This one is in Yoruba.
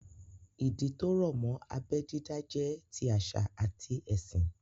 Ìdí tó rọ̀ mọ́ abẹ́ dídá jẹ́ ti àṣà àti ẹ̀sìn